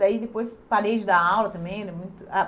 Daí depois parei de dar aula também.